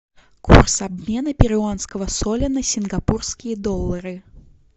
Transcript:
курс обмена перуанского соля на сингапурские доллары